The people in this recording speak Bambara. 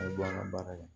A bɛ bɔ an ka baara la